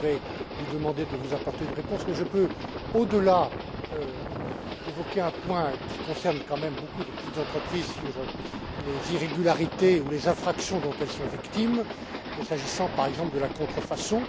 Je vais donc lui demander de vous apporter une réponse. Je peux cependant aborder un point qui concerne quand même beaucoup de petites entreprises et les irrégularités ou infractions dont elles sont victimes, s'agissant, par exemple, de la contrefaçon.